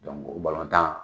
o tan